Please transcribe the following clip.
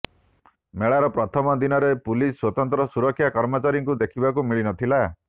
ମେଳାର ପ୍ରଥମ ଦିନରେ ପୁଲିସ ସ୍ୱତନ୍ତ୍ର ସୁରକ୍ଷା କର୍ମଚାରୀଙ୍କୁ ଦେଖିବାକୁ ମିଳିନଥିଲା